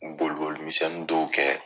Boli boli misɛnnin dɔw kɛ